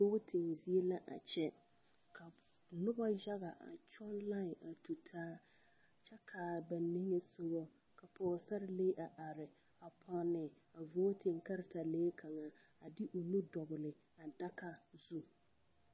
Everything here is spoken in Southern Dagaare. Vooti zie l,a kyɛ noba yaga a kyɔŋ laen a tu taa kyɛ k,a ba niŋesogɔ ka pɔgesarelee a are pɔnne a vooti kartalee kaŋa de o nu dɔgle a daga zu.